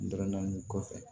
N dɔrɔn nin kɔfɛ